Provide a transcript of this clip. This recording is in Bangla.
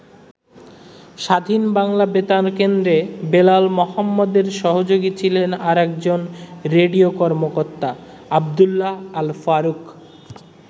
স্বাধীন বাংলা বেতার কেন্দ্রে বেলাল মোহাম্মদের সহযোগী ছিলেন আরেকজন রেডিও কর্মকর্তা আবদুল্লাহ আল-ফারুক।